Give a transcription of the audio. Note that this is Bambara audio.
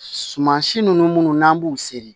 Suman si ninnu minnu n'an b'u seri